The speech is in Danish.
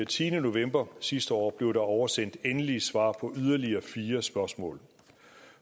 tiende november sidste år blev der oversendt endelige svar på yderligere fire spørgsmål